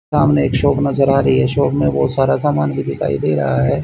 सामने एक शॉप नजर आ रही है शॉप में बहुत सारा सामान भी दिखाई दे रहा है।